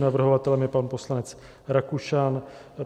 Navrhovatelem je pan poslanec Rakušan.